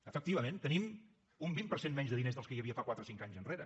efectivament tenim un vint per cent menys de diners dels que hi havia quatre cinc anys enrere